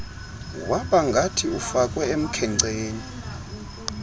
wabangathi ufakwe emkhenceni